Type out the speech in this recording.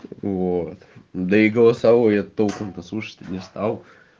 вот да и голосовое я толком то слушать не стал